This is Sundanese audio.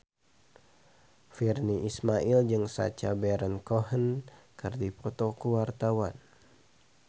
Virnie Ismail jeung Sacha Baron Cohen keur dipoto ku wartawan